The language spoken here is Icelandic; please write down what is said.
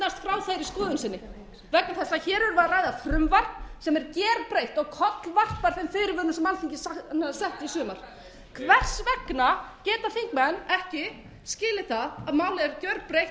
þeirri skoðun sinni vegna þess að hér erum við að ræða frumvarp sem er gerbreytt og kollvarpar þeim fyrirvörum sem alþingi setti í sumar hvers vegna geta þingmenn ekki skilið það að málið er gerbreytt og það sem